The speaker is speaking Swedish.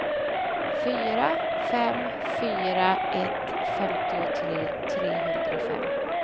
fyra fem fyra ett femtiotre trehundrafem